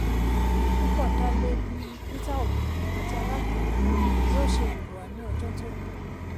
púpọ̀ dálé bí peter obi àti alátakó yóò ṣe hùwà ní ọjọ́ tó ń bọ̀.